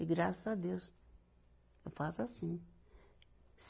E graças a Deus eu faço assim.